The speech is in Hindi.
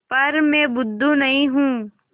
पर मैं बुद्धू नहीं हूँ